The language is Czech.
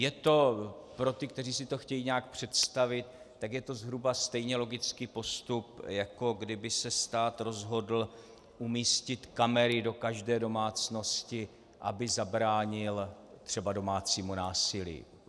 Je to pro ty, kteří si to chtějí nějak představit, tak je to zhruba stejně logický postup, jako kdyby se stát rozhodl umístit kamery do každé domácnosti, aby zabránil třeba domácímu násilí.